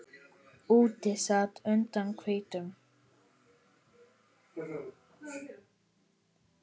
Úti sat und hvítum